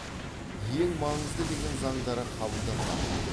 ең маңызды деген заңдары қабылданбаған